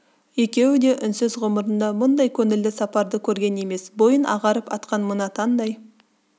екеуі де үнсіз ғұмырында бұңдай көңілді сапарды көрген емес бойын ағарып атқан мына таңдай